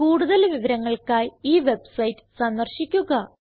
കൂടുതൽ വിവരങ്ങൾക്കായി ഈ വെബ്സൈറ്റ് സന്ദർശിക്കുക